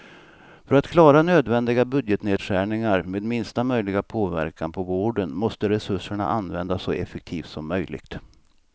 För att klara nödvändiga budgetnedskärningar med minsta möjliga påverkan på vården måste resurserna användas så effektivt som möjligt.